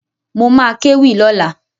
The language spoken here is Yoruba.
Mo ma kéwì lọ́la